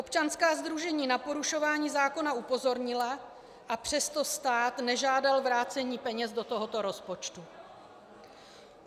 Občanská sdružení na porušování zákona upozornila, a přesto stát nežádal vrácení peněz do tohoto rozpočtu.